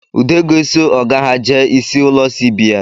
Ude ga-eso ọga ha jee isi ụlọ CBN